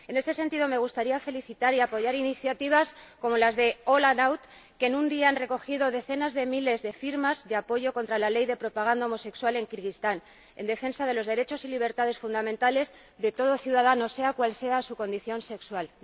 En este sentido, me gustaría felicitar y apoyar iniciativas como las de la organización All Out que en un día han recogido decenas de miles de firmas de apoyo contra la ley de propaganda homosexual en Kirguistán, en defensa de los derechos y libertades fundamentales de todo ciudadano, sea cual sea su condición sexual.